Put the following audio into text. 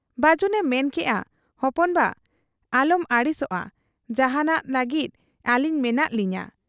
ᱵᱟᱹᱡᱩᱱᱮ ᱢᱮᱱ ᱠᱮᱜ ᱟ ᱦᱚᱯᱚᱱ ᱵᱟ ᱟᱞᱚᱢ ᱟᱹᱲᱤᱥᱚᱜ ᱟ ᱾ ᱡᱟᱦᱟᱸᱱᱟᱜ ᱞᱟᱹᱜᱤᱫ ᱟᱹᱞᱤᱧ ᱢᱮᱱᱟᱜ ᱞᱤᱧᱟ ᱾